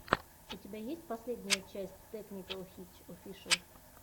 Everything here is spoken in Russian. у тебя есть последняя часть тэкникэл хитч офишэл